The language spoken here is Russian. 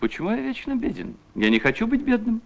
почему я вечно беден я не хочу быть бедным